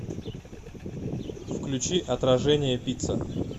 включи отражение пицца